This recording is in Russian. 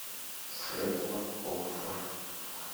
светлаков